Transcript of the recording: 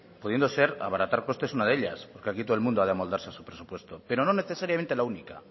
pudiendo ser abaratar costes una de ellas porque aquí todo el mundo ha de amoldarse a su presupuesto pero no necesariamente la única